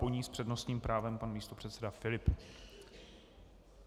Po ní s přednostním právem pan místopředseda Filip.